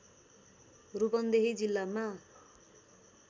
रूपन्देही जिल्लामा